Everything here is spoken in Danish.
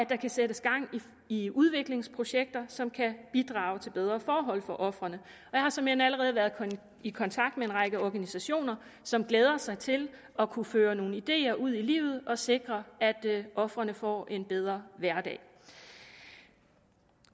kan sættes gang i udviklingsprojekter som kan bidrage til bedre forhold for ofrene jeg har såmænd allerede været i kontakt med en række organisationer som glæder sig til at kunne føre nogle ideer ud i livet og sikre at ofrene får en bedre hverdag